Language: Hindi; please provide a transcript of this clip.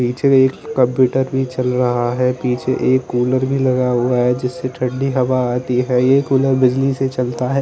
पीछे एक कंप्युटर भी चल रहा है पीछे एक कूलर भी लगा हुआ है जिससे ठंडी हवा आती है ये कूलर बिजली से चलता है।